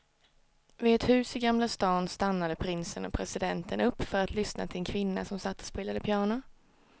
Vid ett hus i gamla stan stannade prinsen och presidenten upp för att lyssna till en kvinna som satt och spelade piano.